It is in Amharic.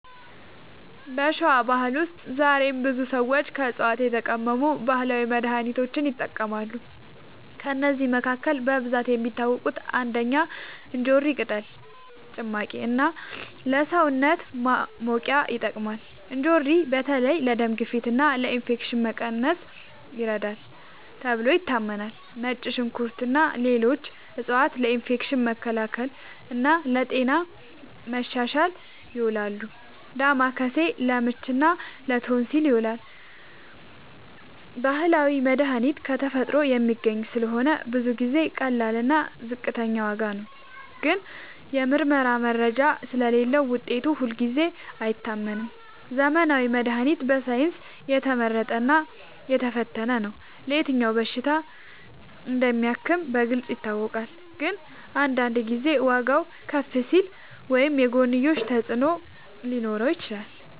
በሸዋ ባህል ውስጥ ዛሬም ብዙ ሰዎች ከዕፅዋት የተቀመሙ ባህላዊ መድሃኒቶችን ይጠቀማሉ። ከእነዚህ መካከል በብዛት የሚታወቁት፦ ፩. እንጆሪ ቅጠል ጭማቂ እና ለሰውነት ማሞቂያ ይጠቅማል። እንጆሪ በተለይ ለደም ግፊት እና ለኢንፌክሽን መቀነስ ይረዳል ተብሎ ይታመናል። ፪. ነጭ ሽንኩርት እና ሌሎች ዕፅዋት ለኢንፌክሽን መከላከል እና ለጤና ማሻሻል ይውላሉ። ፫. ዳማከሴ ለምች እና ለቶንሲል ይዉላል። ባህላዊ መድሃኒት ከተፈጥሮ የሚገኝ ስለሆነ ብዙ ጊዜ ቀላል እና ዝቅተኛ ዋጋ ነው። ግን የምርመራ መረጃ ስለሌለዉ ውጤቱ ሁልጊዜ አይታመንም። ዘመናዊ መድሃኒት በሳይንስ የተመረጠ እና የተፈተነ ነው። የትኛው በሽታ እንደሚያክም በግልጽ ይታወቃል። ግን አንዳንድ ጊዜ ዋጋዉ ከፍ ሊል ወይም የጎንዮሽ ተፅዕኖ ሊኖረው ይችላል።